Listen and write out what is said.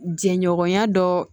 Jɛɲɔgɔnya dɔ